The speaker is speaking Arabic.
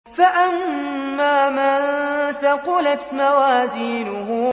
فَأَمَّا مَن ثَقُلَتْ مَوَازِينُهُ